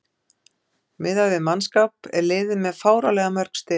Miðað við mannskap er liðið með fáránlega mörg stig.